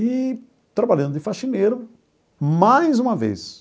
E trabalhando de faxineiro, mais uma vez,